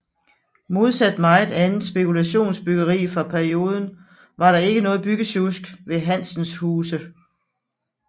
Modsat meget andet spekulationsbyggeri fra perioden var der ikke noget byggesjusk ved Hansens huse